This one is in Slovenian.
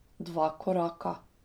Dva koraka.